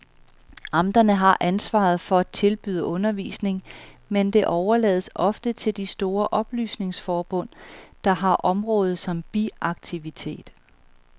Amterne har ansvaret for at tilbyde undervisning, men det overlades ofte til de store oplysningsforbund, der har området som biaktivitet.